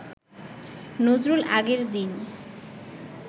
নজরুল আগের দিন